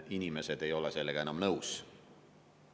Inimesed ei ole sellega enam nõus.